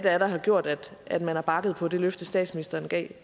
er der har gjort at at man har bakket på det løfte statsministeren gav